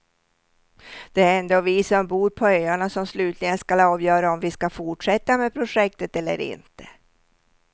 Det är ändå vi som bor på öarna som slutligen skall avgöra om vi skall fortsätta med projektet eller inte.